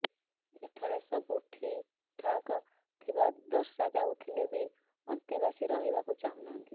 ଏଠାରେ ସବୁ ଠିକ ଠାକ ଥିବା ଦର୍ଶାଇଯାଉଥିଲେ ବି ଅନ୍ତେବାସୀ ରହିବାକୁ ଚାହୁଁନାହାନ୍ତି